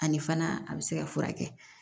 Ani fana a bɛ se ka furakɛ